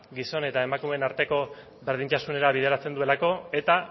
gizon eta emakumeen arteko berdintasunera bideratzen duelako eta